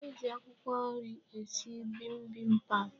E ji akwụkwọ nri esi bibimbap.